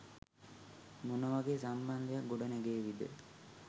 මොන වගේ සම්බන්ධයක් ගොඩනැගේවිද?